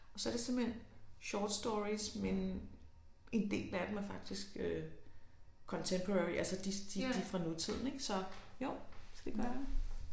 Og så er det simpelthen short stories men en del af dem er faktisk øh contemporary altså de de de er fra nutiden ik så jo det gør jeg